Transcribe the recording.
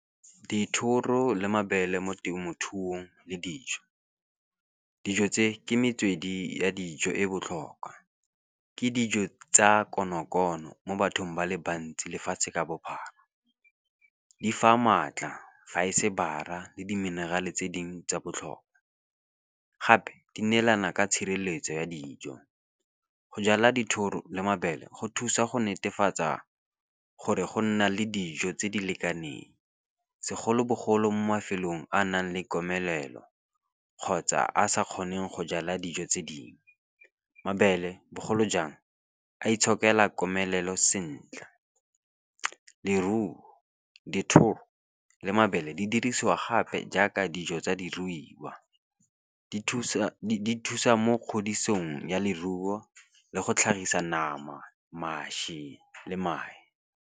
Dithoro le mabele mo temothuong le dijo. Dijo tse ke metswedi ya dijo e botlhokwa, ke dijo tsa konokono mo bathong ba le bantsi lefatshe ka bophara. Di fa maatla fa e se bara le di-mineral-e tse dingwe tsa botlhokwa. Gape di neelana ka tshireletso ya dijo, go jala dithoro le mabele go thusa go netefatsa gore go nna le dijo tse di lekaneng. Segolobogolo mo mafelong a a nang le komelelo, kgotsa a sa kgoneng go jala dijo tse dingwe, mabele bogolo jang a itshokela komelelo sentle. Leruo, dithoro le mabele di dirisiwa gape jaaka dijo tsa diruiwa, di thusa kgodisong ya leruo le go tlhagisa nama, mašwi le mae.